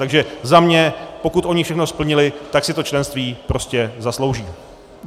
Takže za mě, pokud oni všechno splnili, tak si to členství prostě zaslouží.